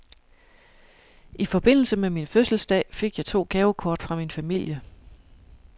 I forbindelse med min fødselsdag fik jeg to gavekort fra min familie.